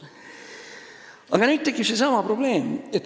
Aga nüüd tekib probleem.